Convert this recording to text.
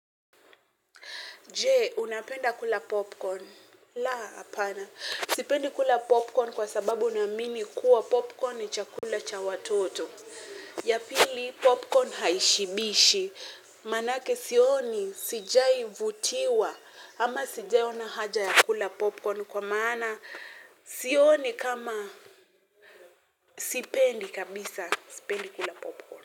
Je, unapenda kula popcorn? La, hapana. Sipendi kula popcorn kwa sababu naamini kuwa popcorn ni chakula cha watoto. Ya pili, popcorn haishibishi. Maana yake sioni, sijai vutiwa. Ama sijai ona haja ya kula popcorn kwa maana. Sioni kama, sipendi kabisa, sipendi kula popcorn.